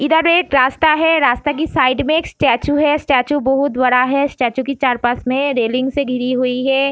इधर एक रास्ता है | रास्ता के साइड मै एक स्टेचू है | स्टेचू बहुत बड़ा है | स्टेचू के चार पास मै रेलिंग से घिरी हुई है |